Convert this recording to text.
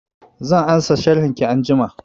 Zan ansa sharhin ki anjima